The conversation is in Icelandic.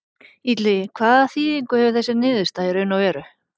Illugi, hvaða þýðingu hefur þessi niðurstaða í raun og veru?